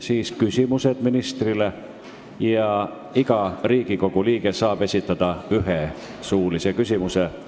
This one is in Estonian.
Siis esitatakse ministrile küsimusi, iga Riigikogu liige saab esitada ühe suulise küsimuse.